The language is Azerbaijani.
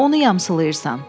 Onu yamsılayırsan.